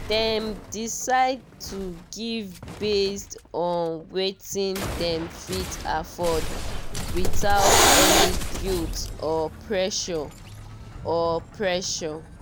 dem decide to give based on wetin dem fit afford without any guilt or pressure. or pressure.